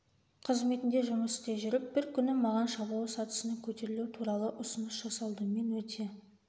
қызметінде жұмыс істей жүріп бір күні маған шабуыл сатысына көтерілу туралы ұсыныс жасалды мен өте